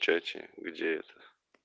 в чате где это